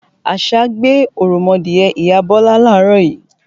Àṣá gbé òròmọdìẹ ìyá Bọ́lá láàárọ̀ yí